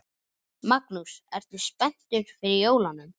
Magnús: Ertu spenntur fyrir jólunum?